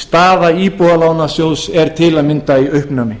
staða íbúðalánasjóðs er til að mynda í uppnámi